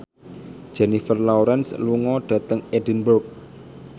Jennifer Lawrence lunga dhateng Edinburgh